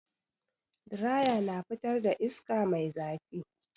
Diraya na fitar da iska mai zafi.